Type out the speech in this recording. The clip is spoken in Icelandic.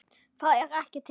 ÞAÐ ER EKKI TIL!!!